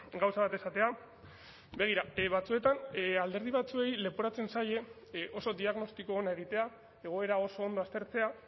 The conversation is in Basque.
gauza bat esatea begira batzuetan alderdi batzuei leporatzen zaie oso diagnostiko ona egitea egoera oso ondo aztertzea